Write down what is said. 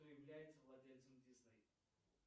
кто является владельцем дисней